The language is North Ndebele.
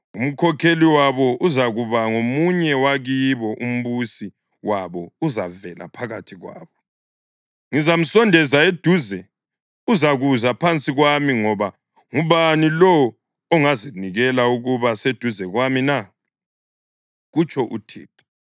Umkhokheli wabo uzakuba ngomunye wabakibo; umbusi wabo uzavela phakathi kwabo. Ngizamsondeza eduze, uzakuza phansi kwami, ngoba ngubani lowo ongazinikela ukuba seduze kwami na?’ kutsho uThixo.